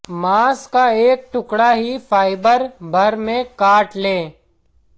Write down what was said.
मांस का एक टुकड़ा ही फाइबर भर में काट लें